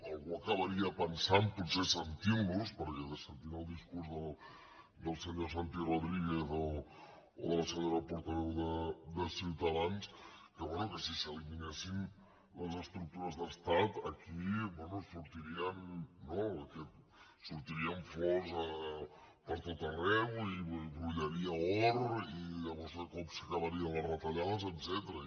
algú acabaria pensant potser sentint los sentint el discurs del senyor santi rodríguez o de la senyora portaveu de ciutadans que bé que si s’eliminessin les estructures d’estat aquí sortirien no flors per tot arreu i brollaria or i llavors de cop s’acabarien les retallades etcètera